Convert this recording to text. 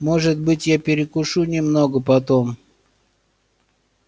может быть я перекушу немного потом